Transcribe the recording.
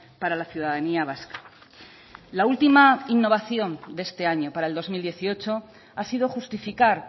para la ciudadanía vasca la última innovación de este año para el dos mil dieciocho ha sido justificar